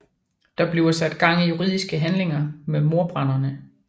Der bliver sat i gang juridiske handlinger mod mordbrænderne